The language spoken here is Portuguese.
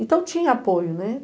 Então tinha apoio, né?